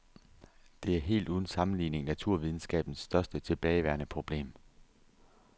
Det er helt uden sammenligning naturvidenskabens største tilbageværende problem.